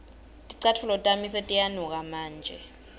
ticatfulo tami setiyanuka manje